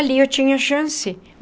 Ali eu tinha chance.